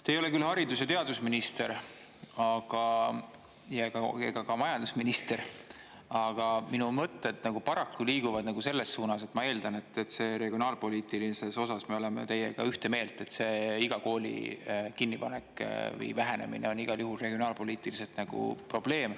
Te ei ole küll haridus- ja teadusminister ega ka majandusminister, aga minu mõtted paraku liiguvad selles suunas, et ma eeldan, et regionaalpoliitilises osas me oleme teiega ühte meelt, et see iga kooli kinnipanek või vähenemine on igal juhul regionaalpoliitiliselt nagu probleem.